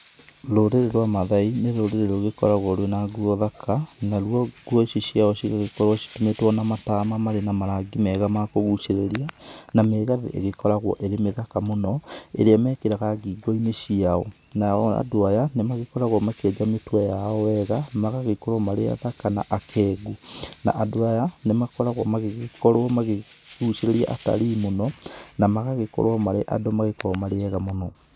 Rũrĩrĩ rwa Mathai nĩ rũrĩrĩ rũgĩkoragwo rwĩna nguo thaka, naruo nguo ici ciao cigagĩkorwo citumĩtwo na matama marĩ na marangi mega ma kũguchĩrĩria na mĩgathĩ ĩgĩkoragwo ĩrĩ mĩthaka mũno ĩrĩa mĩkĩraga ngingo -inĩ ciao, nao andũ aya nĩ magĩkoragwo makĩenja mĩtwe yao wega magagĩkorwo marĩ athaka na akengu na andũ aya nĩmagĩkorgwo magĩgĩkorwo makĩgucĩrĩria atarii mũno na magagĩkorwo marĩ andũ magĩkoragwo marĩ ega mũno.